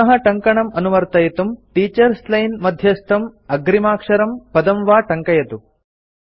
पुनः टङ्कणं अनुवर्तयितुं टीचर्स् लाइन् मध्यस्थं अग्रिमाक्षरं पदं वा टङ्कयतु